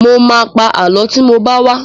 Mo ma pa Àlọ́ tí mo bá wá